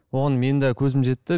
оған менің де көзім жетті